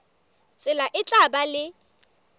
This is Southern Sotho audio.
tsela e tla ba le